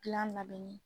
Gilan labɛnni